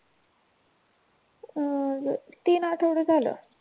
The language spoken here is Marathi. हम्म बग तीन आठवडे झालं.